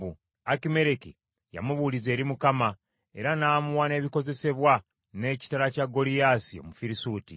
Akimereki yamubuuliza eri Mukama , era n’amuwa n’ebikozesebwa n’ekitala kya Goliyaasi Omufirisuuti.”